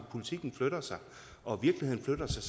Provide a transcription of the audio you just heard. politikken flytter sig og virkeligheden flytter sig